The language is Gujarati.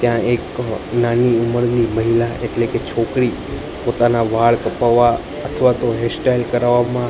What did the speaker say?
ત્યાં એક નાની ઉમરની મહિલા એટલે કે છોકરી પોતાના વાળ કપવા અથવાતો હેરસ્ટાઇલ કરવામાં--